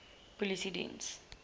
polisiediens